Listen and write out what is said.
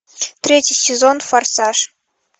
третий сезон форсаж